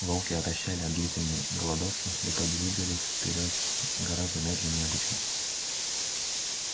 волки отощали от длительной голодовки и подвигались вперёд гораздо медленнее обычного